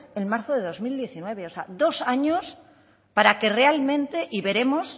en marzo de dos mil diecinueve o sea dos años para que realmente y veremos